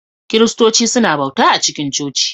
Kiristoci suna bauta a cikin coci